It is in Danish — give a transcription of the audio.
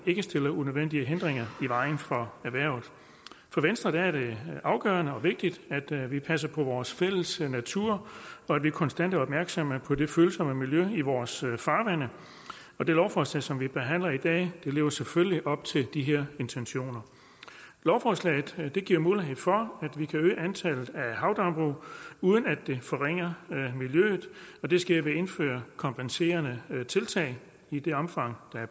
ikke stiller unødvendige hindringer i vejen for erhvervet for venstre er det afgørende og vigtigt at vi passer på vores fælles natur og at vi konstant er opmærksomme på det følsomme miljø i vores farvande og det lovforslag som vi behandler i dag lever selvfølgelig op til de her intentioner lovforslaget giver mulighed for at vi kan øge antallet af havdambrug uden at det forringer miljøet og det sker ved at indføre kompenserende tiltag i det omfang der er